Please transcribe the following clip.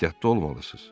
Ehtiyatlı olmalısız.